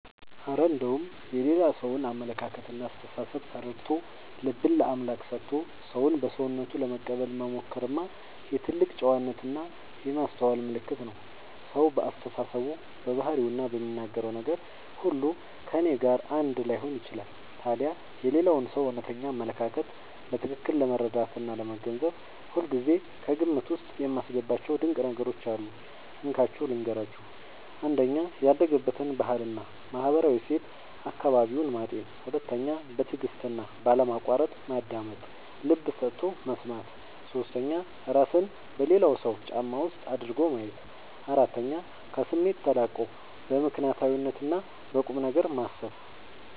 እረ እንደው የሌላ ሰውን አመለካከትና አስተሳሰብ ተረድቶ፣ ልብን ለአምላክ ሰጥቶ ሰውን በሰውነቱ ለመቀበል መሞከርማ የትልቅ ጨዋነትና የማስተዋል ምልክት ነው! ሰው በአስተሳሰቡ፣ በባህሪውና በሚናገረው ነገር ሁሉ ከእኔ ጋር አንድ ላይሆን ይችላል። ታዲያ የሌላውን ሰው እውነተኛ አመለካከት በትክክል ለመረዳትና ለመገንዘብ ሁልጊዜ ከግምት ውስጥ የማስገባቸው ድንቅ ነገሮች አሉ፤ እንካችሁ ልንገራችሁ - 1. ያደገበትን ባህልና ማህበራዊ እሴት (አካባቢውን) ማጤን 2. በትዕግስትና ባለማቋረጥ ማዳመጥ (ልብ ሰጥቶ መስማት) 3. እራስን በሌላው ሰው ጫማ ውስጥ አድርጎ ማየት 4. ከስሜት ተላቆ በምክንያትና በቁምነገር ማሰብ